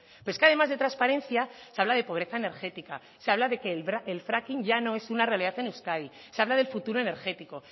pero es que además de transparencia se habla de pobreza energética se habla de que el fracking ya no es una realidad en euskadi se habla del futuro energético